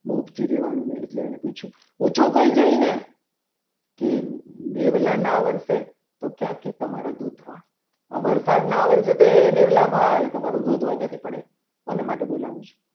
મુખથી રહેવાનું નહીં એટલે એને પૂછ્યું. કે પૂછો કોઈ જઈને કે મેવલા ના વર્ષે તો ક્યાંથી તમારા દુધવા આ વરસાદના આ વર્ષે તો એ મેલ્લા તમારું રુધવા ક્યાંથી પડે કોને માટે બોલાવે છે.